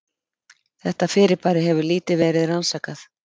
Þetta fyrirbæri hefur lítið verið rannsakað.